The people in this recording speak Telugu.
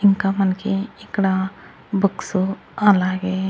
ఇంకా మనకి ఇక్కడ బుక్సు అలాగే--